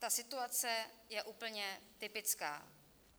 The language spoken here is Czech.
Ta situace je úplně typická.